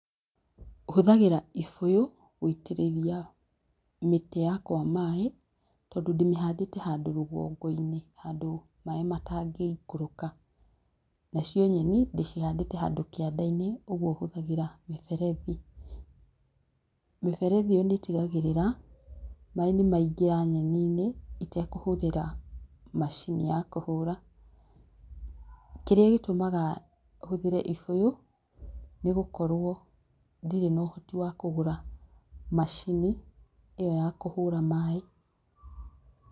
Hũthagĩra gĩbũyũ gũitĩrĩria, mĩtĩ yakwa maaĩ, tondũ ndĩmĩhandĩte handũ rũgongo-inĩ handũ maaĩ matangĩ ikũruka, nacio nyeni ndĩcihandĩte handũ kianda-inĩ ũguo hũthagĩra mĩberethi. Mĩberethi ĩo nĩ ĩtagĩrira, maaĩ nĩ maigĩra nyeni-inĩ itakũhũthĩra macini ya kũhũra. Kĩrĩa gitũmaga hũthĩre ibũyũ, nĩ gũkorwo, ndire na ũhoti wa kũgũra macini ĩo ya kũhũra maaĩ.